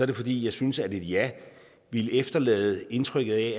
det fordi jeg synes at et ja ville efterlade indtrykket af